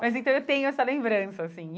Mas, então, eu tenho essa lembrança, assim.